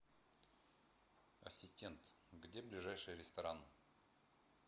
ассистент где ближайший ресторан